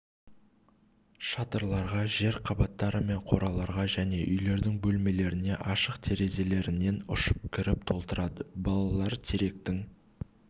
шатырларға жер қабаттары мен қораларға және үйлердің бөлмелеріне ашық терезелерінен ұшып кіріп толтырады балалар теректің